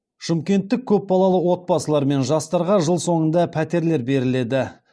шымкенттік көпбалалы отбасылар мен жастарға жыл соңында пәтерлер беріледі